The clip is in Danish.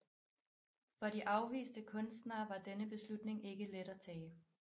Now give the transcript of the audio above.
For de afviste kunstnere var denne beslutning ikke let at tage